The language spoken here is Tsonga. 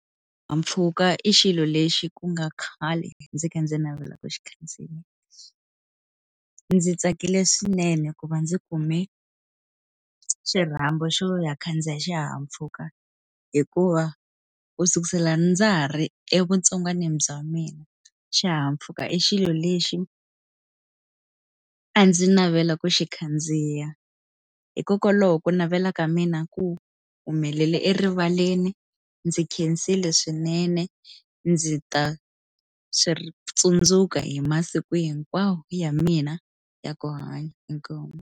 Xihahampfhuka i xilo lexi ku nga khale ndzi kha ndzi navela ku xi khandziya, ndzi tsakile swinene ku va ndzi kume xirhambo xo ya khandziya xihahampfhuka hikuva u sukusela ndza ri evutsongwanini bya mina xihahampfhuka i xilo lexi a ndzi navela ku xi khandziya hikokwalaho ku navela ka mina ku humelela erivaleni ndzi khensile swinene ndzi ta ri swi tsundzuka hi masiku hinkwawo ya mina ya ku hanya, inkomu.